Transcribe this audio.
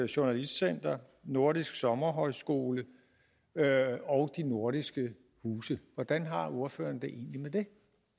journalistcenter nordisk sommerhøjskole og de nordiske huse hvordan har ordføreren det egentlig med det